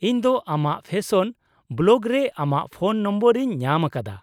ᱤᱧ ᱫᱚ ᱟᱢᱟᱜ ᱯᱷᱮᱥᱚᱱ ᱵᱞᱚᱜ ᱨᱮ ᱟᱢᱟᱜ ᱯᱷᱳᱱ ᱱᱟᱢᱵᱟᱨ ᱤᱧ ᱧᱟᱢ ᱟᱠᱟᱫᱟ ᱾